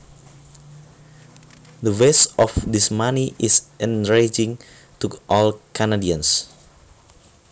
The waste of this money is enraging to all Canadians